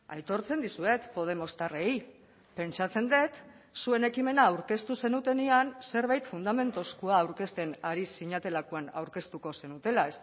aitortzen dizuet podemostarrei pentsatzen dut zuen ekimena aurkeztu zenutenean zerbait fundamentuzkoa aurkezten ari zinetelakoan aurkeztuko zenutela